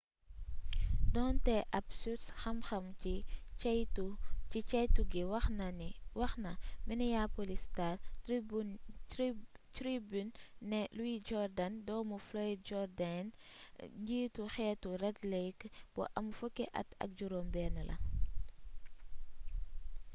doonte ab surs xam xam ci ceytu gi wax na minneapolis star tribune nee na louis jordan doomu floyd jourdain njiitu xeetu red lake bu am fukki at ak juróom benn la